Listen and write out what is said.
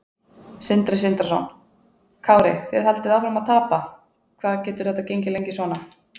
Sindri Sindrason: Kári þið haldið áfram að tapa, hvað getur þetta gengið lengi svona?